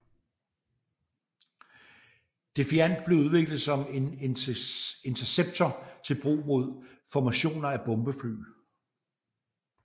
Defiant blev udviklet som en interceptor til brug mod formationer af bombefly